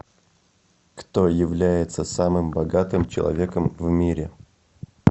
кто является самым богатым человеком в мире